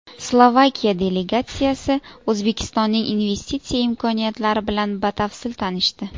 Slovakiya delegatsiyasi O‘zbekistonning investitsiya imkoniyatlari bilan batafsil tanishdi.